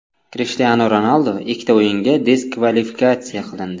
Krishtianu Ronaldu ikkita o‘yinga diskvalifikatsiya qilindi.